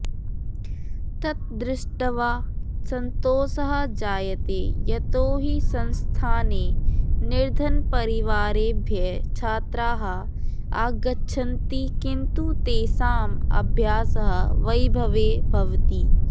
तत् दृष्ट्वा सन्तोषः जायते यतो हि संस्थाने निर्धनपरिवारेभ्यः छात्राः आगच्छन्ति किन्तु तेषां अभ्यासः वैभवे भवति